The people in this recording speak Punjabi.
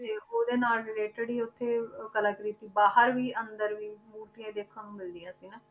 ਤੇ ਉਹਦੇ ਨਾਲ related ਹੀ ਉੱਥੇ ਉਹ ਕਲਾਕ੍ਰਿਤੀ ਬਾਹਰ ਵੀ ਅੰਦਰ ਵੀ ਮੂਰਤੀਆਂ ਹੀ ਦੇਖਣ ਨੂੰ ਮਿਲਦੀਆਂ ਸੀ ਨਾ